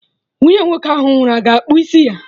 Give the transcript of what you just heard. Nwunye nwoke ahụ nwụrụ a ga-akpụ isi ya?